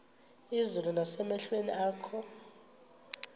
izulu nasemehlweni akho